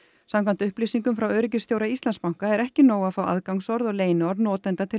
samkvæmt upplýsingum frá öryggisstjóra Íslandsbanka er ekki nóg að fá aðgangsorð og leyniorð notenda til